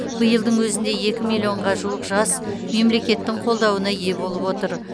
биылдың өзінде екі миллионға жуық жас мемлекеттің қолдауына ие болып отыр